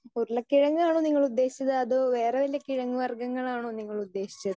Speaker 2 ഉരുളക്കിഴങ്ങ് ആണോ നിങ്ങൾ ഉദ്ദേശിച്ചത് അതോ വേറെ വല്ല കിഴങ്ങ് വർഗങ്ങൾ ആണോ നിങ്ങൾ ഉദ്ദേശിച്ചത്?